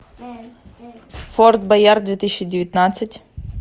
форт боярд две тысячи девятнадцать